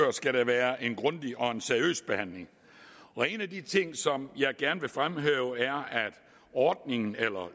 være en grundig og seriøs behandling en af de ting som jeg gerne vil fremhæve er at ordningen eller